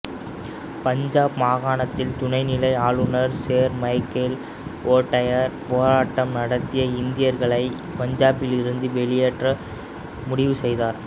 பஞ்சாபு மாகாணத்தின் துணைநிலை ஆளுநர் சேர் மைக்கேல் ஓ டயர் போராட்டம் நடத்திய இந்தியர்களை பஞ்சாபிலிருந்து வெளியேற்ற முடிவு செய்தார்